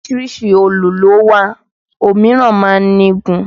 Oríṣiríṣi òòlù ló wà ó míràn máa ń ní igun